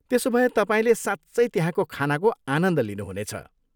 त्यसोभए तपाईँले साँच्चै त्यहाँको खानाको आनन्द लिनुहुनेछ।